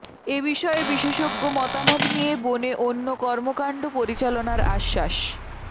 এ বিষয়ে বিশেষজ্ঞ মতামত নিয়ে বনে অন্য কর্মকাণ্ড পরিচালনার আশ্বাস